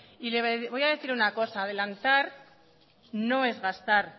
y le voy a decir una cosa adelantar no es gastar